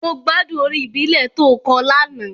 Mo gbádùn orin ìbílẹ̀ to kọ lánàá.